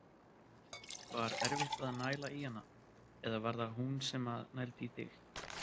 Var erfitt að næla í hana eða var það hún sem að nældi í þig?